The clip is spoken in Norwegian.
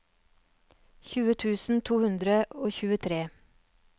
tjue tusen to hundre og tjuetre